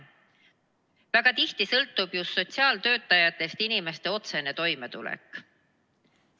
Väga tihti sõltub just sotsiaaltöötajatest inimeste otsene toimetulek.